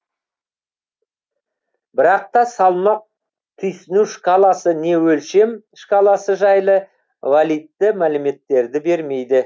бірақ та салмақ түйсіну шкаласы не өлшем шкаласы жайлы валидті мәліметтерді бермейді